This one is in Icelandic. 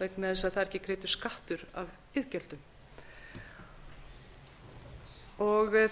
vegna þess að það er ekki greiddur skattur af iðgjöldum